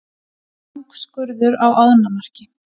Langskurður á ánamaðki.